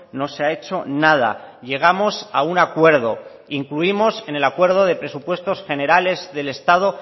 no se ha hecho nada llegamos a un acuerdo en el acuerdo de presupuestos generales del estado